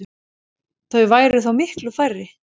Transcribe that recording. Þau væru þá miklu færri.